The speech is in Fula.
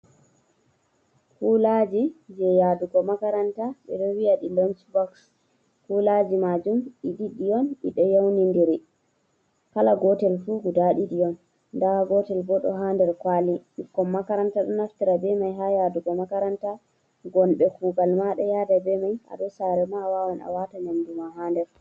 Kulaji je yaɗugo makaranta. Ɓe ɗo vi’a ɗi lonc boks. Kulaji majum ɗi ɗiɗi on, ɗi ɗo yauniɗiri l. Kala gotel fu guɗa ɗiɗi on. Nɗa gotel ɓo ɗo ha nɗer kwali. Ɓikkon makaranta ɗo naftira ɓe mai ha yaɗugo makaranta. Gonɓe kugal ma ɗo yaɗira ɓe mai. Aɗo sare ma awawan awata nyamɗuma ha nɗer.